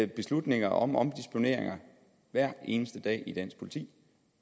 beslutninger om omdisponeringer hver eneste dag i dansk politi